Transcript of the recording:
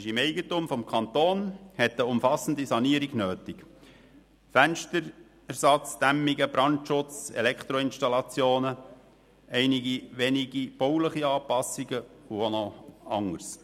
Es ist im Eigentum des Kantons und hat eine umfassende Sanierung nötig: Fensterersatz, Dämmungen, Brandschutz, Elektroinstallationen, einige wenige bauliche Anpassungen und auch noch anderes.